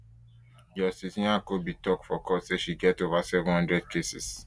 justice nyako bin tok for court say she get ova seven hundred cases